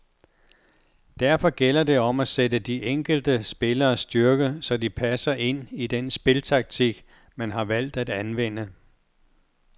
Derfor gælder det om at sætte de enkelte spilleres styrke så de passer ind i den spiltaktik, man har valgt at anvende.